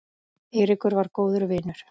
Eiríkur var góður vinur.